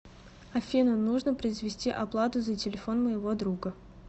афина нужно произвести оплату за телефон моего друга